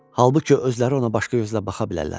Halbuki özləri ona başqa gözlə baxa bilərlər.